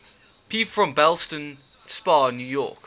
people from ballston spa new york